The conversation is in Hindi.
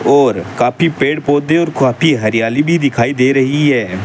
और काफी पेड़ पौधे और काफी हरियाली भी दिखाई दे रही है।